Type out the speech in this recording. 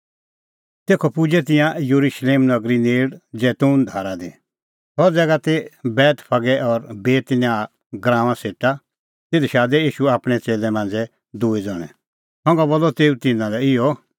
तेखअ पुजै तिंयां येरुशलेम नगरी नेल़ जैतून धारा दी सह ज़ैगा ती बेतफगे और बेतनियाह गराऊंआं सेटा तिधी शादै ईशू आपणैं च़ेल्लै मांझ़ै दूई ज़ण्हैं संघा बोलअ तेऊ तिन्नां लै इहअ